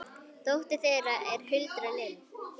dóttir þeirra er Hulda Lind.